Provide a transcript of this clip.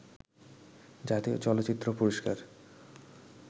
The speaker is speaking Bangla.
জাতীয় চলচ্চিত্র পুরস্কার